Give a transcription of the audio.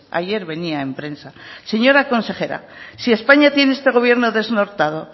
ayer venía en prensa señora consejera si españa tiene este gobierno desnortado